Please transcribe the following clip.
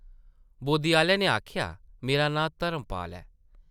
बोद्दी आह्ले नै आखेआ, ‘‘मेरा नांऽ धर्मपाल ऐ ।’’